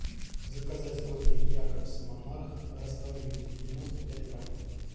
заказать кофе якобс монарх растворимый девяносто пять грамм